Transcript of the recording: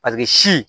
Paseke si